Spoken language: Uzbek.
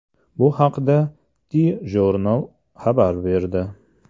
Bu haqda TJournal x abar berdi .